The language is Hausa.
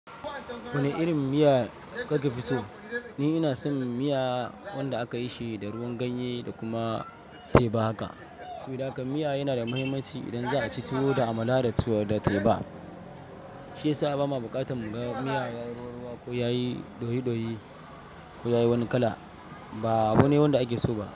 Wane irin miya ka ke fi so? Ni ina son miya wanda aka yishi da ruwan ganye da kuma teba haka. Saboda haka miya yana da mahimmanci idan za'a ci tuwo da Amala da Tuwo da Teba. Shi ya sa ba ma buƙatar mu ga miya ruwa-ruwa ko yayi ɗoyi-ɗoyi ko yayi wani kala. Ba abune wanda ake so ba.